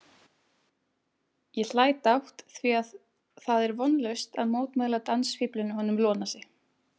Ég hlæ dátt því það er vonlaust að mótmæla dansfíflinu honum Ionasi.